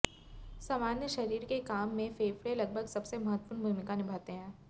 सामान्य शरीर के काम में फेफड़े लगभग सबसे महत्वपूर्ण भूमिका निभाते हैं